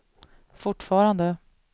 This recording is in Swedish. fortfarande